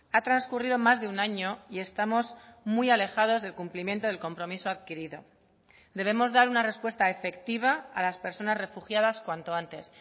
ha transcurrido más de un año y estamos muy alejados del cumplimiento del compromiso adquirido debemos dar una respuesta efectiva a las personas refugiadas cuanto antes